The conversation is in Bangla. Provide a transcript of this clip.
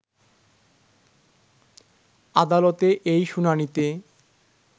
আদালতে এই শুনানিতে